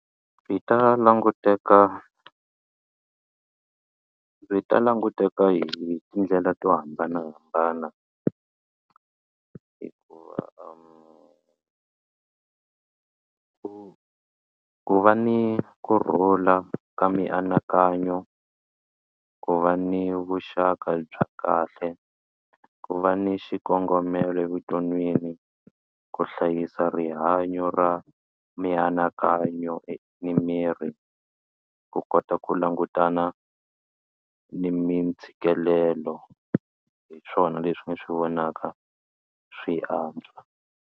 Byi ta languteka byi ta languteka hi tindlela to hambanahambana hikuva ku ku va ni kurhula ka mianakanyo ku va ni vuxaka bya kahle ku va ni xikongomelo evuton'wini ku hlayisa rihanyo ra mianakanyo ni miri ku kota ku langutana ni mintshikelelo hi swona leswi ni swi vonaka swi antswa.